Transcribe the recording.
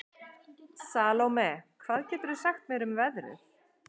Salome, hvað geturðu sagt mér um veðrið?